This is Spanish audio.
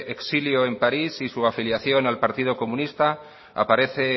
exilio en parís y su afiliación al partido comunista aparece